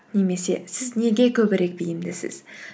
немесе сіз неге көбірек бейімдісіз